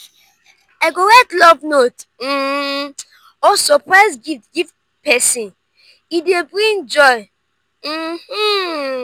i go write love note um or surprise gift give pesin e dey bring joy. um